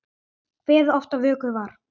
Kveðið oft á vöku var.